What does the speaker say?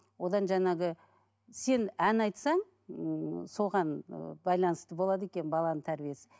одан жаңағы сен ән айтсаң ыыы соған ыыы байланысты болады екен баланың тәрбиесі